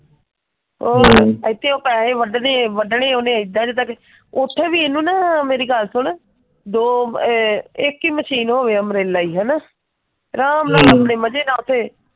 ਉਹ ਇਥੇ ਉਹ ਪੈਹੇ ਵੱਡਦੇ ਆ ਵੱਡਣੇ ਉਹੀ ਇੱਦਾਂ ਜਿੰਦਾ ਕੋਈ, ਉਥੇ ਵੀ ਇਹਨੂੰ ਨਾ ਮੇਰੀ ਗੱਲ ਸੁਨ, ਦੋ ਅਹ ਇੱਕ ਹੀ ਮਸ਼ੀਨ ਹੋਵੇ ਹੈਨਾ? ਅਰਾਮ ਨਾਲ ਆਪਣੇ ਮਜੇ ਨਾਲ ਉਥੇ,